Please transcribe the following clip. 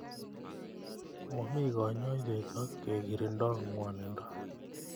Momi kanyoiset ak kekirindoi ng'wanindo.